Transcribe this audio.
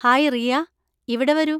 Hi Riya, ഇവിടെ വരൂ.